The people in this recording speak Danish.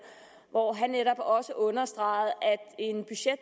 hvor han netop også understregede